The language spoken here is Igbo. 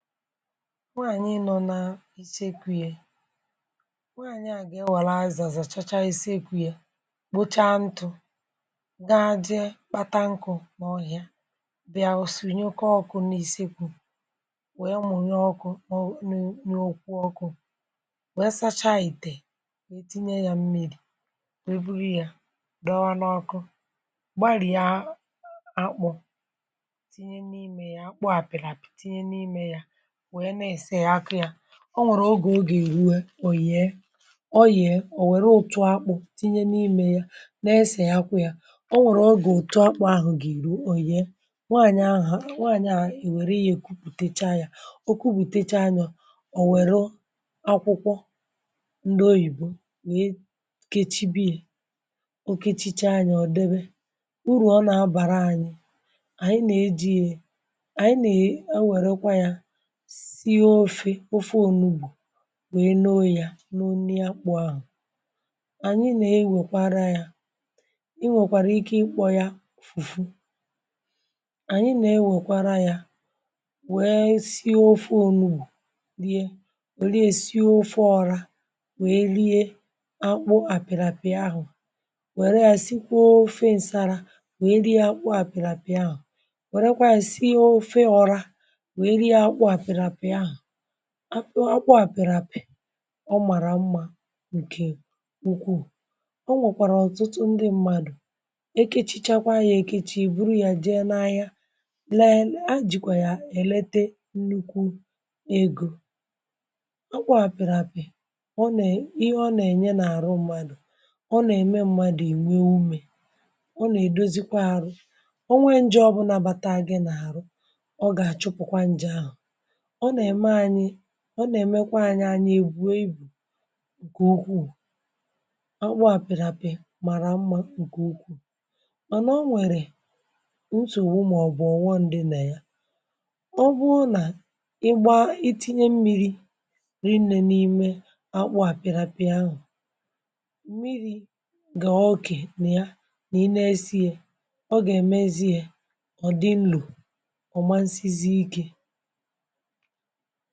Nwàànyị nọ n’ìchẹ́kwù. Yè nwàànyị à gà ịwàlà azàzà chàchà isekwù, yà kpochà ntụ̇, gà-ajị̇ kpàtà nkụ̇ n’ọhịà, bịa, o sì nyòkọ́ ọkụ̇ n’isiekwù, wèe mònye ọkụ̇. Ọ nụ̀ n’okwù ọkụ̇ wèe sachà ìtè, wèe tinye yà mmírí, wèe bùrù yà dọ̀wà n’ọkụ́, gbàrìà, akpọ̇, tinye n’ime yà. Akpọ̀ à pị̀rị̀pị̀, tinye n’ime yà, wèe na-ese ya, akụ́ ya. Ọ nwèrè̀ ògé, o gà-èrù, è òyìè, ọ yìẹ. Ò wèrè ụtụ̀ akpụ̇ tinye n’ímè ya, na-èsè ya, akwụ́ ya. Ọ nwèrè, o gà-ụtụ̀, akpụ̇ ahụ gà-èrù, o yìẹ um Nwàànyị̀ ahụ̀, nwàànyị à, èwèrè ihe, kubùtèchá ya, o kwùpùtèchá yà. Ò wèrè̀ akwụkwọ ndị Oyìbo, wèe kechibì, o kechìchá yà, ọ̀ dèbè, bùrù. Ọ nà-abàrà ànyị, ànyị nà-eji ya, ànyị nà-ẹ̀. È wèrèkwà yà, sì ọ̀fù, ofè ọ̀fù Ònùbù, wèe n’oyìà n’onye akpụ̇ ahụ̀. Ànyị nè-ewèkwàrà yà. Ị nwèkwàrà ike, ikpọ̇ yà fùfù um Ànyị nè-ewèkwàrà yà, wèe sì ofè ọ̀fù Ònùbù lìe, wèe lìe, sì ofè ọ̀fù Ọ̇rà, wèe lìe. Akpụ̀ àpị̀ràpị̀ ahụ̀, wèrè yà, sìkwà ofè ǹsàrà, wèe rie. Akpụ̀ àpị̀ràpị̀ ahụ̀, wèrè kwàì, sìe ofè ọ̀fù Ọ̇rà. Akpọ̀ à pị̀rị̀pị̀, ọ màrà mma, ǹkè puku Ọ nwòkwàrà ọ̀tụ̀tụ̀ ndị mmadụ̀, è kechìchàkwà anyà, è kechàá, ì bùrù yà, jèe n’ahịa, lèe, lèe, a jìkwà yà, èlètè nnukwu egò. Akpọ̀ à pị̀rị̀pị̀, ọ nà ihe, ọ nà-ènye n’àrụ̀ mmadụ̀. Ọ nà-ème mmadụ̀ ì wèe umeṁ, ihe ọ nà-èdozikwà arụ̀, ọ nà-èdozikwà ȧrụ̀. Ọ nwè njọ, bụ̀ nabàtà gị n’àrụ̀. Ọ gà-achụpụ̀kwà njè ahụ̀. Ọ nà-èmèkwà ànyị ànyà èbùèbù̇, ǹkẹ̀ ukwuù. Ọkpụ̀ àpịrịpị̀, màrà mma, ǹkẹ̀ ukwuù. Mànà, ọ nwèrè n’ụsọ̀, bụ̀ mà, ọ̀ bụ̀ ọnwọ̀ ndị nà ya, ọ bụhụ̀ nà ị gbà ìtìnyè mmírí riinè n’ímè akpụ̀ àpịrịpị̀à ahụ̀, mmírí gà òkè nà ya. Nà ị nèèsí yè, ọ gà èmèzìè, ọ̀ dị̀ nlò ọ̀ma, nsị́zí íké um